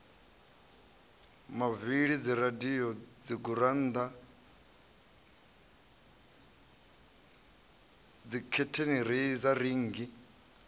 mavili dziradio dzigurannda dzikhethenireiza rinngi